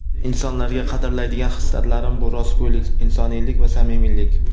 Insonlarda qadrlaydigan hislatlarim bu - rostgo‘ylik, insoniylik va samimiylik.